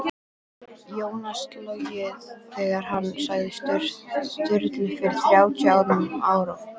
Jónas logið þegar hann sagði Sturlu fyrir þrjátíu árum á